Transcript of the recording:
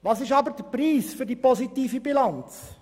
Was ist aber der Preis für die positive Bilanz?